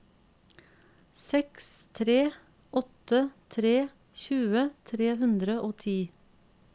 seks tre åtte tre tjue tre hundre og ti